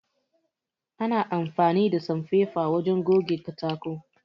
Ana amfani da sanfefa wajen goge katako